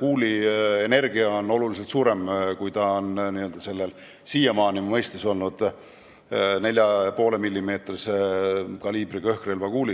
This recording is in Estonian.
kuuli energia oluliselt suurem kui siiamaani õhkrelvana mõistetud 4,5-millimeetrise kaliibriga relva puhul.